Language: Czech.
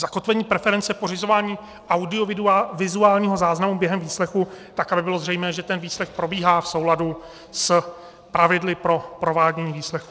Zakotvení preference pořizování audiovizuálního záznamu během výslechu, tak aby bylo zřejmé, že ten výslech probíhá v souladu s pravidly pro provádění výslechu.